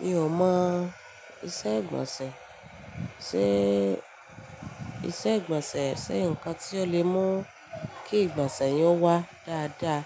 Mi ò mọ̀ iṣẹ́ ìgbọ̀nsẹ̀ sé, iṣẹ́ ìgbọ̀nsẹ̀ ṣe nǹkan tí ó lè mú kí ìgbọ̀nsẹ̀ yẹn ó wá dáadáa